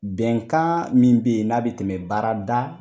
Bɛnkan min be yen n'a be tɛmɛ baarada